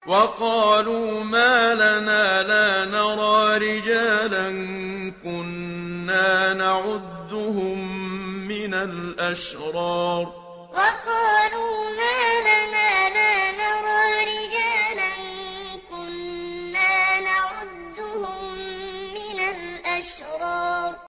وَقَالُوا مَا لَنَا لَا نَرَىٰ رِجَالًا كُنَّا نَعُدُّهُم مِّنَ الْأَشْرَارِ وَقَالُوا مَا لَنَا لَا نَرَىٰ رِجَالًا كُنَّا نَعُدُّهُم مِّنَ الْأَشْرَارِ